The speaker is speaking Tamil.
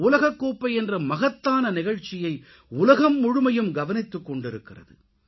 உலகக்கோப்பை என்ற மகத்தான நிகழ்ச்சியை உலகம் முழுமையும் கவனித்துக்கொண்டிருக்கிறது